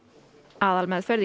aðalmeðferð í